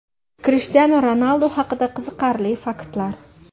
Krishtianu Ronaldu haqida qiziqarli faktlar.